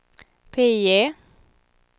PIE